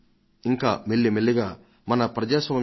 పంచాయతీ రాజ్ వ్యవస్థ క్రమంగా యావత్తు దేశానికి విస్తరించింది